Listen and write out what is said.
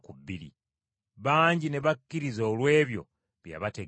Bangi ne bakkiriza olw’ebyo bye yabategeeza.